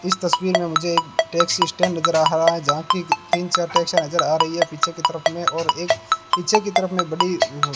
इस तस्वीर में मुझे एक टैक्सी स्टैंड नजर हावा जहां की तीन चार टैक्सियां नजर आ रही हैं पीछे की तरफ में और एक पीछे की तरफ में बड़ी हम् --